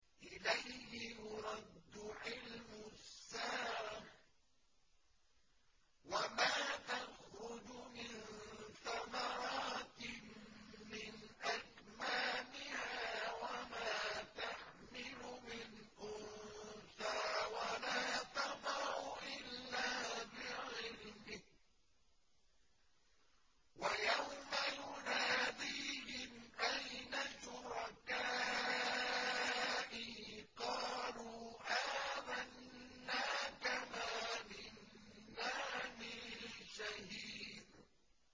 ۞ إِلَيْهِ يُرَدُّ عِلْمُ السَّاعَةِ ۚ وَمَا تَخْرُجُ مِن ثَمَرَاتٍ مِّنْ أَكْمَامِهَا وَمَا تَحْمِلُ مِنْ أُنثَىٰ وَلَا تَضَعُ إِلَّا بِعِلْمِهِ ۚ وَيَوْمَ يُنَادِيهِمْ أَيْنَ شُرَكَائِي قَالُوا آذَنَّاكَ مَا مِنَّا مِن شَهِيدٍ